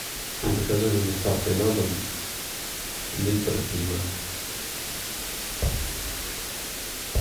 закажи с доставкой на дом литр пива